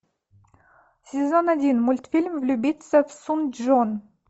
сезон один мультфильм влюбиться в сун чжон